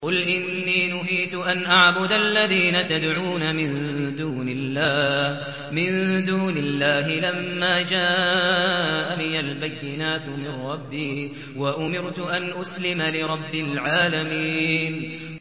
۞ قُلْ إِنِّي نُهِيتُ أَنْ أَعْبُدَ الَّذِينَ تَدْعُونَ مِن دُونِ اللَّهِ لَمَّا جَاءَنِيَ الْبَيِّنَاتُ مِن رَّبِّي وَأُمِرْتُ أَنْ أُسْلِمَ لِرَبِّ الْعَالَمِينَ